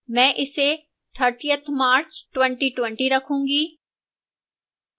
मैं इसे 30th march 2020 रखूंगी